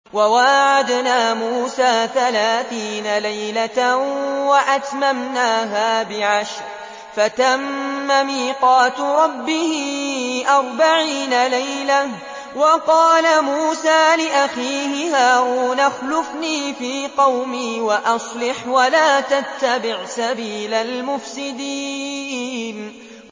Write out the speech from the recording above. ۞ وَوَاعَدْنَا مُوسَىٰ ثَلَاثِينَ لَيْلَةً وَأَتْمَمْنَاهَا بِعَشْرٍ فَتَمَّ مِيقَاتُ رَبِّهِ أَرْبَعِينَ لَيْلَةً ۚ وَقَالَ مُوسَىٰ لِأَخِيهِ هَارُونَ اخْلُفْنِي فِي قَوْمِي وَأَصْلِحْ وَلَا تَتَّبِعْ سَبِيلَ الْمُفْسِدِينَ